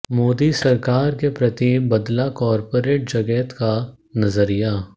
मोदी सरकार के प्रति बदला कॉर्पोरेट जगत का नजरिया